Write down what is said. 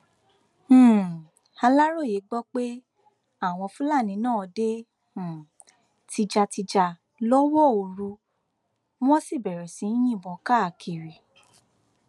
um aláròye gbọ pé àwọn fúlàní náà dé um tìjàtìjà lọwọ òru wọn sì bẹrẹ sí í yìnbọn káàkiri